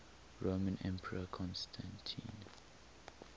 roman emperor constantine